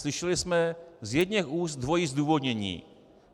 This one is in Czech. Slyšeli jsme z jedněch úst dvojí zdůvodnění.